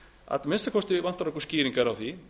að minnsta kosti vantar okkur skýringar á því